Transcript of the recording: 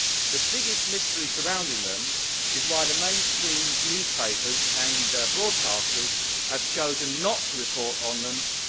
The biggest mystery surrounding them is why the mainstream newspapers and broadcasters have chosen not to report on them since